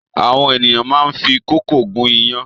Àwọn ènìyàn máá ń fi kókò gún iyán